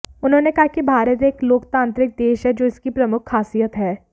उन्होंने कहा कि भारत एक लोकतांत्रिक देश है जो इसकी प्रमुख खासियत है